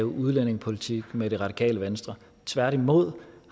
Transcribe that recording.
udlændingepolitik med det radikale venstre tværtimod